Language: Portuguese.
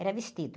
Era vestido.